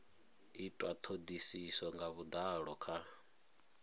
itwa thodisiso nga vhudalo kha